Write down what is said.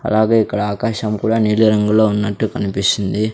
అలాగే ఇక్కడ ఆకాశం కూడా నీలిరంగులో ఉన్నట్టు కనిపిస్తుంది.